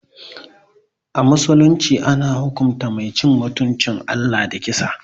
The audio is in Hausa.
A musulunci, ana hukunta Mai cin mutuncin Allah da kisa.